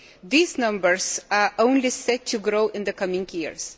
These numbers are only set to grow in the coming years.